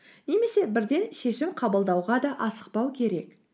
немесе бірден шешім қабылдауға да асықпау керек